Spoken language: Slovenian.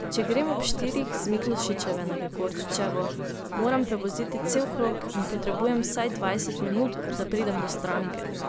Če grem ob štirih z Miklošičeve na Gregorčičevo, moram prevoziti cel krog in potrebujem vsaj dvajset minut, da pridem do stranke.